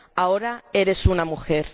Ahora eres una mujer.